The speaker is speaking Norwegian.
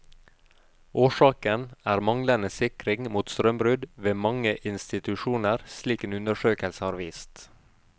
Årsaken er manglende sikring mot strømbrudd ved mange institusjoner, slik en undersøkelse har vist.